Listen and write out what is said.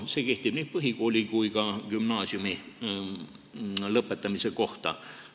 See kehtib nii põhikooli kui ka gümnaasiumi lõpetamise kohta.